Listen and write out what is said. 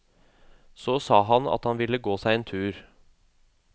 Så sa han at han ville gå seg en tur.